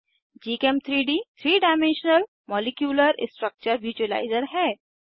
gchem3डी 3 dimensional molecular structure visualiser है